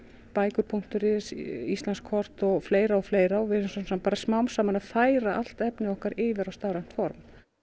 bækur punktur is Íslandskort og fleira og fleira og við erum svona smám saman að færa allt efnið okkar yfir á stafrænt form